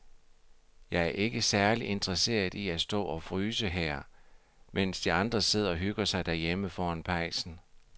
Jeg er ikke særlig interesseret i at stå og fryse her, mens de andre sidder og hygger sig derhjemme foran pejsen.